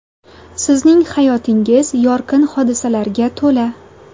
Sizning hayotingiz yorqin hodisalarga to‘la.